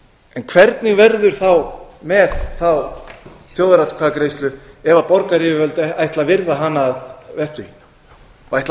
en hvernig verður með þá þjóðaratkvæðagreiðslu ef borgaryfirvöld ætla að virða hana að vettugi og ætla